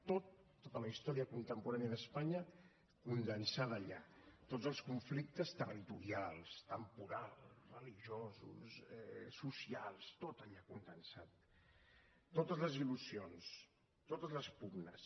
tot tota la història contemporània d’espanya condensada allà tots els conflictes territorials temporals religiosos socials tot allà condensat totes les il·lusions totes les pugnes